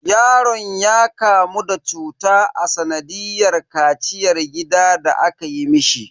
Yaron ya kamu da cuta a sanadiyar kaciyar gida da aka yi mishi.